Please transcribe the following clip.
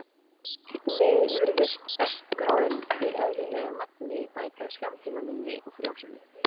Einnig virðist estrógen í eðlilegu magni bæta skammtímaminni og frjósemi.